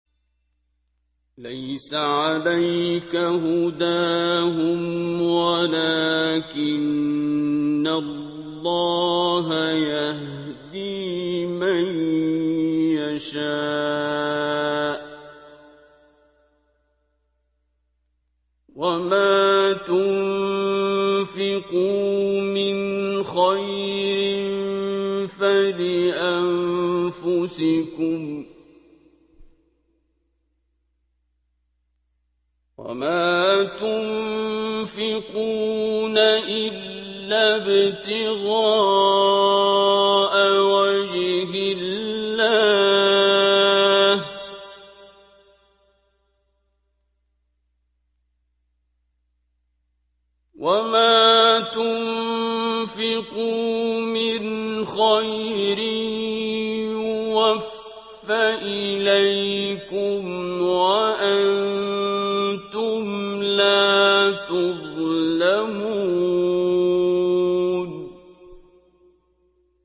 ۞ لَّيْسَ عَلَيْكَ هُدَاهُمْ وَلَٰكِنَّ اللَّهَ يَهْدِي مَن يَشَاءُ ۗ وَمَا تُنفِقُوا مِنْ خَيْرٍ فَلِأَنفُسِكُمْ ۚ وَمَا تُنفِقُونَ إِلَّا ابْتِغَاءَ وَجْهِ اللَّهِ ۚ وَمَا تُنفِقُوا مِنْ خَيْرٍ يُوَفَّ إِلَيْكُمْ وَأَنتُمْ لَا تُظْلَمُونَ